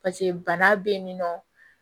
pase bana be yen nɔ